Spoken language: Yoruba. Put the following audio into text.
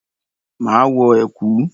Máa wọ ẹ̀kú.